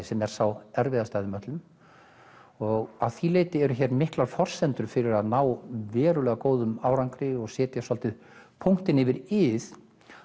sem er sá erfiðasti af þeim öllum og að því leyti eru miklar forsendur fyrir að ná verulega góðum árangri og setja svolítið punktinn yfir ið